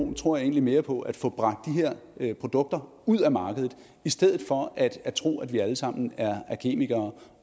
jeg tror egentlig mere på at få bragt de her produkter ud af markedet i stedet for at tro at vi alle sammen er kemikere